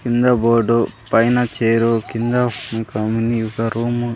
కింద బోర్డు పైన చేరు కింద ఒక మినీ ఒక రూము --